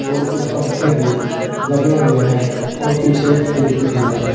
और कुछ पंखे भी लगे हुए हैं और पीछे एक खिड़की भी है।